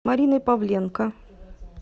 мариной павленко